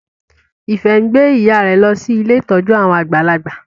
Ife ngbé ìyá rẹ ló sì Ilé ìtọjú àwọn àgbàlagbà.